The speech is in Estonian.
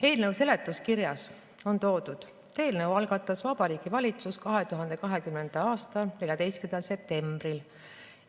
Eelnõu seletuskirjas on toodud, et selle eelnõu algatas Vabariigi Valitsus 2020. aasta 14. septembril.